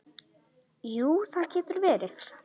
Jú, það getur verið.